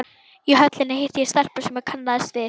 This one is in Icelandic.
Í Höllinni hitti ég stelpu sem ég kannaðist við.